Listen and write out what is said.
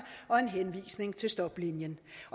og en henvisning til stoplinjen